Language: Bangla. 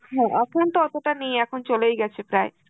হম এখন তো অতটা নেই, এখন চলেই গেছে প্রায়